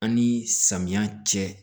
An ni samiya cɛ